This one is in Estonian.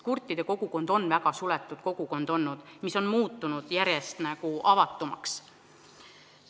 Kurtide kogukond on väga suletud kogukond olnud, nüüd on see muutunud järjest avatumaks.